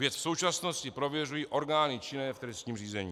Věc v současnosti prověřují orgány činné v trestním řízení.